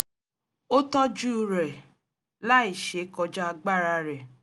ó tọ́júú rẹ̀ láì ṣe kọjá agbára rẹ̀